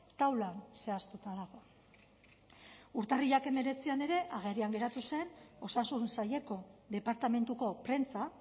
taula zehaztuta dago urtarrilak hemeretzian ere agerian geratu zen osasun saileko departamentuko prentsa